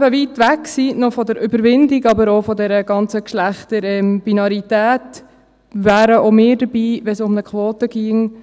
Da wir eben noch weit von der Überwindung entfernt sind, auch von der ganzen Geschlechterbinarität, wären auch wir dabei, wenn es um eine Quote ginge, nicht